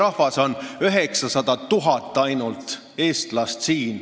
Meil on siin ainult 900 000 eestlast.